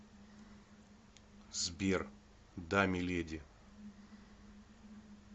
сбер да миледи